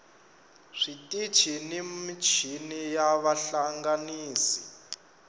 switichi ni michini na vahlanganisi